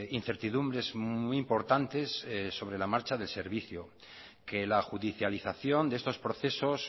incertidumbres muy importantes sobre la marcha del servicio que la judicialización de estos procesos